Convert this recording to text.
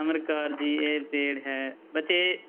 ਅਮਰ ਕੌਰ ਜੀ ਇਹ paid ਹੈ ਬੱਚੇ